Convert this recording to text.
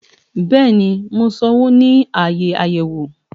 Bẹẹni mọ sánwọ ni aaye ayẹwo